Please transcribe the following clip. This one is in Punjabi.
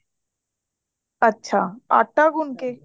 ਅੱਛਾ ਆਟਾ ਗੁੰਦਕੇ